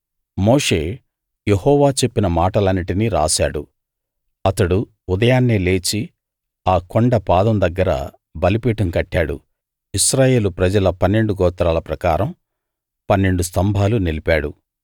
మోషే యెహోవా చెప్పిన మాటలన్నిటినీ రాశాడు అతడు ఉదయాన్నే లేచి ఆ కొండ పాదం దగ్గర బలిపీఠం కట్టాడు ఇశ్రాయేలు ప్రజల పన్నెండు గోత్రాల ప్రకారం పన్నెండు స్తంభాలు నిలిపాడు